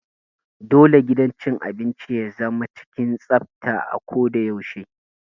Dole gidan cin abinci ya zama cikin tsafta a ko da yaushe.